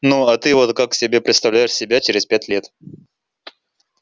ну а ты вот как себе представляешь себя через пять лет